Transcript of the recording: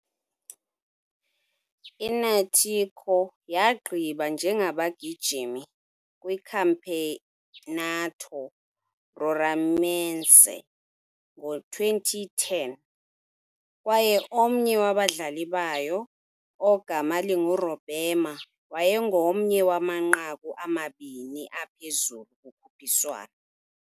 I-Náutico yagqiba njengabagijimi kwiCampeonato Roraimense ngo-2010, kwaye omnye wabadlali bayo, ogama linguRobemar wayengomnye wamanqaku amabini aphezulu kukhuphiswano.